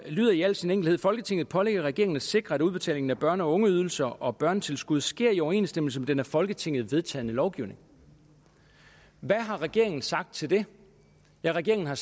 lyder i al sin enkelhed folketinget pålægger regeringen at sikre at udbetalingen af børne og ungeydelser og børnetilskud sker i overensstemmelse med den af folketinget vedtagne lovgivning hvad har regeringen sagt til det ja regeringen har